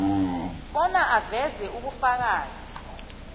bona aveze ubufakazi